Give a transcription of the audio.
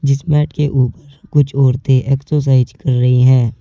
जिस मैट के ऊपर कुछ औरतें एक्सरसाइज कर रही है।